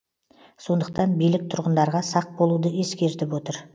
сондықтан билік тұрғындарға сақ болуды ескертіп отыр